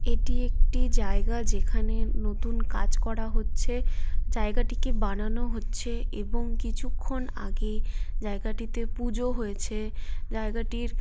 এটি একটি জায়গা যেখানে নতুন কাজ করা হচ্ছে। জায়গাটিকে বানানো হচ্ছে এবং কিছুক্ষণ আগে জায়গাটিতে পুজো হয়েছে জায়গাটির।